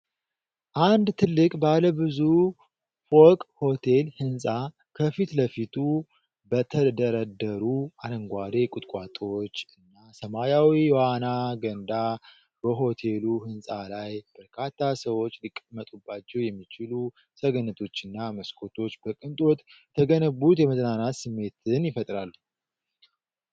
አንድ ትልቅ ባለ ብዙ ፎቅ ሆቴል ሕንጻ፣ ከፊት ለፊቱ በተደረደሩ አረንጓዴ ቁጥቋጦዎች እና ሰማያዊ የዋና ገንዳ፣ በሆቴሉ ሕንጻ ላይ፣ በርካታ ሰዎች ሊቀመጡባቸው የሚችሉ ሰገነቶችና መስኮቶች በቅንጦት የተገነቡት የመዝናናት ስሜትን ይፈጥራሉ።